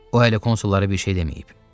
O hələ konsollara bir şey deməyib.